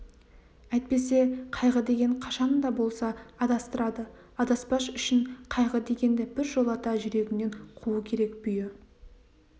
әйтпесе қайғы деген қашан да болса адастырады адаспас үшін қайғы дегенді біржолата жүрегіңнен қуу керек бүйі